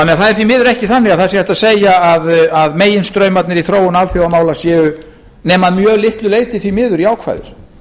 það er því miður ekki þannig að það sé hægt að segja að meginstraumarnir í þróun alþjóðamála séu nema að mjög litlu leyti því miður jákvæðir